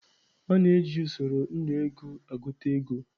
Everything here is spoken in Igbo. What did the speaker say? A na-eji usoro Nnu ego agụta ego.